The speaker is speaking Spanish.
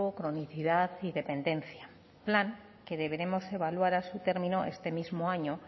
cronicidad y dependencia plan que deberemos evaluar a su término este mismo año